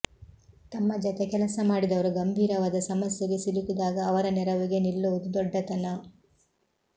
ತಮ್ಮ ಜತೆ ಕೆಲಸ ಮಾಡಿದವರು ಗಂಭೀರವಾದ ಸಮಸ್ಯೆಗೆ ಸಿಲುಕಿದಾಗ ಅವರ ನೆರವಿಗೆ ನಿಲ್ಲುವುದು ದೊಡ್ಡತನ